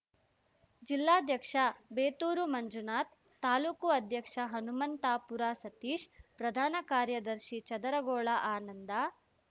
ಜಿಲ್ಲಾಧ್ಯಕ್ಷ ಬೇತೂರು ಮಂಜುನಾಥ್‌ ತಾಲೂಕು ಅಧ್ಯಕ್ಷ ಹನುಮಂತಾಪುರ ಸತೀಶ್‌ ಪ್ರಧಾನ ಕಾರ್ಯದರ್ಶಿ ಚದರಗೋಳ ಆನಂದ